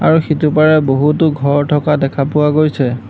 আৰু সিটো পাৰে বহুতো ঘৰ থকা দেখা পোৱা গৈছে।